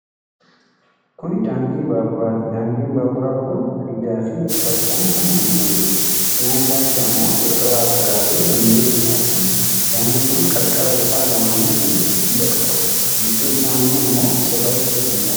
Kuni daandii baaburaati. Daandiin baaburaa kun hadiidaa fi cirrachaan kan guutamedha. cinaa isaatti ammoo irra fagaate manneen ni argamu. Daandiin kun qarqara isaa lamaanitti hadiida qaba. gidduu isaan ammoo cirrachi guutamee jira.